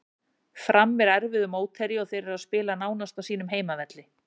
Fram er erfiður mótherji og þeir eru að spila nánast á sínum heimavelli.